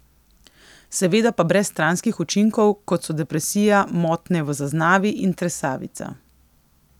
Seveda pa brez stranskih učinkov, kot so depresija, motnje v zaznavi in tresavica.